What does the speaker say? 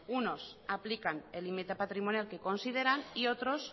unos aplican el límite patrimonial que consideran y otros